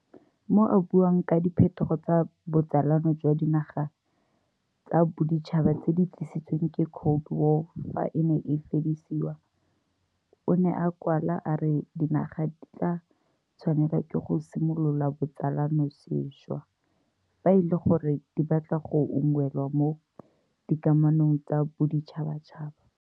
Mo a buang ka diphetogo tsa botsalano jwa dinaga tsa boditšhaba tse di tlisitsweng ke Cold War fa e ne e fedisiwa, o ne a kwala a re dinaga di tla tshwanelwa ke go simolola botsalano sešwa fa e le gore di batla go unngwelwa mo dikamanong tsa boditšhabatšhaba.